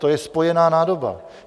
To je spojená nádoba.